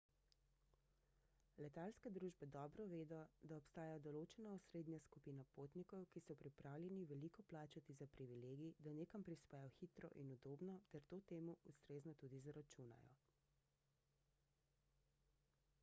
letalske družbe dobro vedo da obstaja določena osrednja skupina potnikov ki so pripravljeni veliko plačati za privilegij da nekam prispejo hitro in udobno ter to temu ustrezno tudi zaračunajo